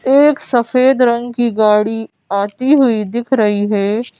एक सफेद रंग की गाड़ी आती हुई दिख रही है।